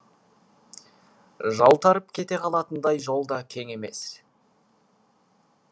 жалтарып кете қалатындай жол да кең емес